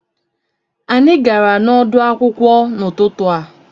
Anyị gara n'ọdụ̀ akwụkwọ n'ututu a